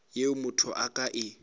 yeo motho a ka e